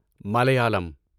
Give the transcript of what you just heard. Malayalam